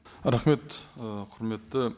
рахмет ы құрметті